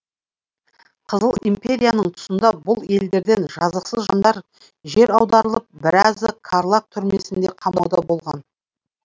қызыл империяның тұсында бұл елдерден жазықсыз жандар жер аударылып біразы карлаг түрмесінде қамауда болған